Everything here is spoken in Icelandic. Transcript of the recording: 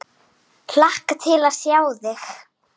Hlakka til að sjá þig.